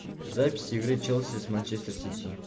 запись игры челси с манчестер сити